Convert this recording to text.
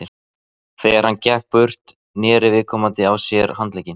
Þegar hann gekk burtu, neri viðkomandi á sér handlegginn.